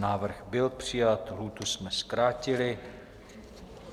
Návrh byl přijat, lhůtu jsme zkrátili.